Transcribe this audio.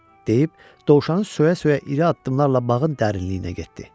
deyib dovşanı söyə-söyə iri addımlarla bağın dərinliyinə getdi.